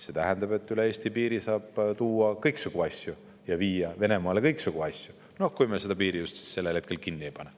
See tähendab, et üle Eesti piiri saab tuua kõiksugu asju ja viia Venemaale kõiksugu asju – kui me just seda piiri sellel hetkel kinni ei pane.